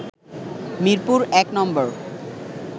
Mirpur নম্বর